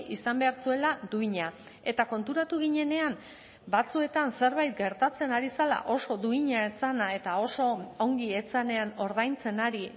izan behar zuela duina eta konturatu ginenean batzuetan zerbait gertatzen ari zela oso duina ez zena eta oso ongi ez zenean ordaintzen ari